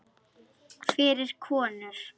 Fyrir konur.